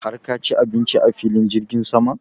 har ka ci abinci a filin jirgin sama?